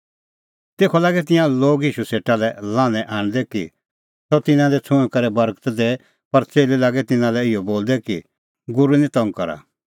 तेखअ लागै तिंयां लोग ईशू सेटा लै लान्हैं आणदै कि सह तिन्नां दी छ़ुंईं करै बर्गत दैए पर च़ेल्लै लागै तिन्नां लै इहअ बोलदै कि गूरू निं तंग करा